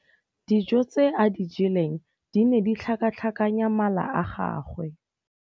Dijô tse a di jeleng di ne di tlhakatlhakanya mala a gagwe.